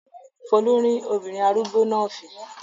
Folú rín obìnrin arúgbó náà fìn-ín.